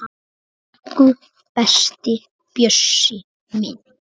Elsku besti Bjössi minn.